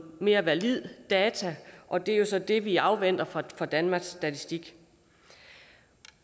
mere valide data og det er jo så det vi afventer fra danmarks statistik